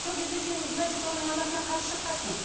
сол кезде сен значит оның анасына қарсы шыққансың